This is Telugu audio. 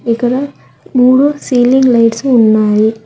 ఇక్కడ మూడు సీలింగ్ లైట్సు ఉన్నాయి.